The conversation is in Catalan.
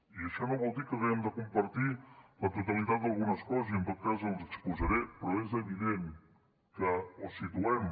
i això no vol dir que haguem de compartir la totalitat d’algunes coses i en tot cas el ho exposaré però és evident que o situem